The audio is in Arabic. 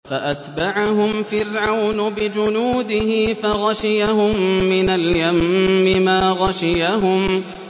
فَأَتْبَعَهُمْ فِرْعَوْنُ بِجُنُودِهِ فَغَشِيَهُم مِّنَ الْيَمِّ مَا غَشِيَهُمْ